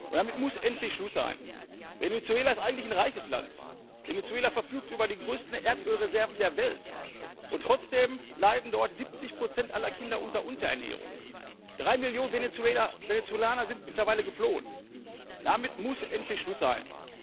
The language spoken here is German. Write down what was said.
Damit muss endlich Schluss sein! Venezuela ist eigentlich ein reiches Land, Venezuela verfügt über die größten Erdölreserven der Welt, und trotzdem leiden dort 70 Prozent aller Kinder unter Unterernährung, 3 Millionen Venezolaner sind mittlerweile geflohen. Damit muss endlich Schluss sein!